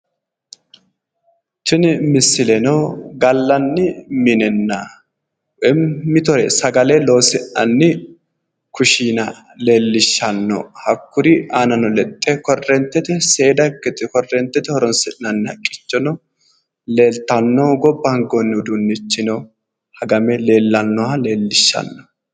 Tini misileno gallanni minenna, woyi mitore sagale loosi'nanni kushiina leellishshanno hakkuri aanano lexxe korreentete seeda, korreentete horonsi'nayi haqqichono leeltanno gobba hangoyi uduunnichino hagame leellannoha leellishshanno.